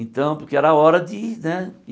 Então, porque era hora de, né?